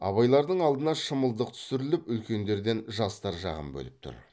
абайлардың алдына шымылдық түсіріліп үлкендерден жастар жағын бөліп тұр